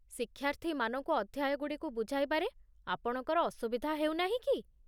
ଶିକ୍ଷାର୍ଥୀମାନଙ୍କୁ ଅଧ୍ୟାୟଗୁଡ଼ିକୁ ବୁଝାଇବାରେ ଆପଣଙ୍କର ଅସୁବିଧା ହେଉନାହିଁ କି?